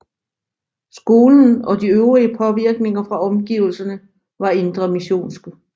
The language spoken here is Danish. Skolen og de øvrige påvirkninger fra omgivelserne var indremissionske